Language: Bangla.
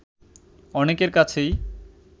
অনেকের কাছেই